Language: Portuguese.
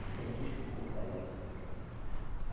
Você desculpa ele.